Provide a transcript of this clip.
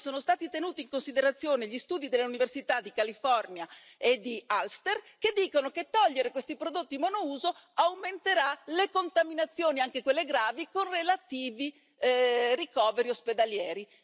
Non sono stati tenuti in considerazione neanche gli studi dell'Università della California e dell'Ulster, secondo cui togliere questi prodotti monouso aumenterà le contaminazioni, anche quelle gravi, con relativi ricoveri ospedalieri.